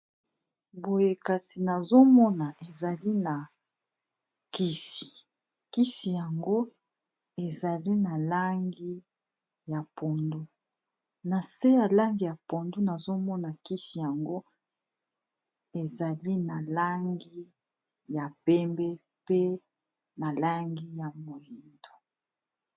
Boye nazomona eza kisi, kisi yango na se eza na langi ya pondu, nazomona kisi yango ezali na langi ya pembe pe na langi ya moindo.